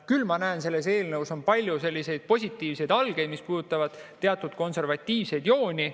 Küll aga ma näen selles eelnõus palju positiivseid algeid, mis puudutavad teatud konservatiivseid jooni.